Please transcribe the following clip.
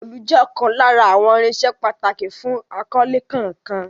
Òòlù jẹ́ ọ̀kan lára àwọn irinṣẹ́ pàtàkì fún akọ́lé kankan.